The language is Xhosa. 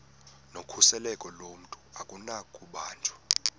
nokhuseleko lomntu akunakubanjwa